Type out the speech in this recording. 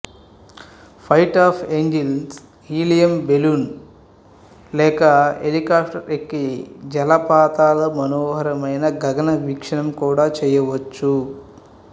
fight of angels helium balloon లేక హెలికాఫ్టర్ఎక్కి జలపాతాల మనోహరమైన గగన వీక్షణం కూడా చేయవచ్చు